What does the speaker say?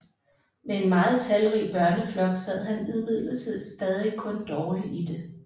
Med en meget talrig børneflok sad han imidlertid stadig kun dårlig i det